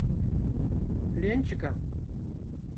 ленчика